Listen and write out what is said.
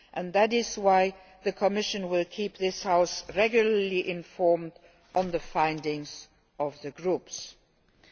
That is why the Commission will keep this House regularly informed on the group's findings.